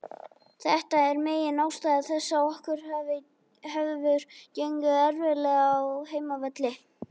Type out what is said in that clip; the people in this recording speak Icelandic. Þetta er megin ástæða þess að okkur hefur gengið erfiðlega á heimavelli.